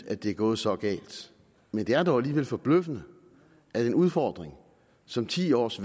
at det er gået så galt men det er dog alligevel forbløffende at en udfordring som ti års